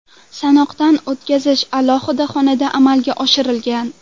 Sanoqdan o‘tkazish alohida xonada amalga oshirilgan.